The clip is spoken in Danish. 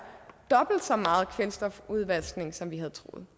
dobbelt så meget kvælstofudvaskning som vi havde troet